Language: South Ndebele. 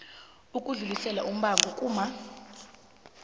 ukudlulisela umbango kuccma